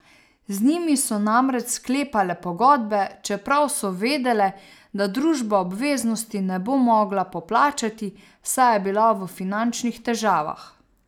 Z njimi so namreč sklepale pogodbe, čeprav so vedele, da družba obveznosti ne bo mogla poplačati, saj je bila v finančnih težavah.